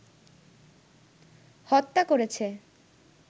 হত্যা করেছে